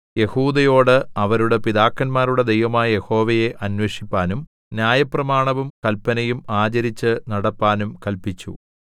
യെഹൂദയോട് അവരുടെ പിതാക്കന്മാരുടെ ദൈവമായ യഹോവയെ അന്വേഷിപ്പാനും ന്യായപ്രമാണവും കല്പനയും ആചരിച്ചു നടപ്പാനും കല്പിച്ചു